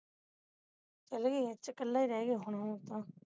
ਚਲ ਗਏ ਆ ਕਲਾ ਹੀ ਰਹਿ ਗਿਆ ਹੁਣ ਉਹ ਤਾਂ